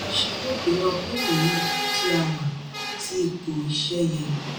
àjọṣe yóò gbé wa kúrò ní ipò tí a wà sí ipò iṣẹ́ yẹ.